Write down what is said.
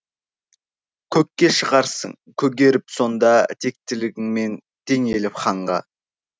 көкке шығарсың көгеріп сонда тектілігіңмен теңеліп ханға